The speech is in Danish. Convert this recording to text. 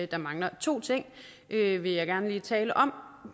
der mangler to ting vil vil jeg gerne lige tale om